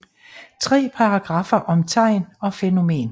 Tre paragraffer om tegn og fænomen